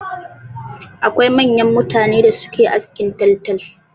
Akwai manyan mutane da suke askin taltal.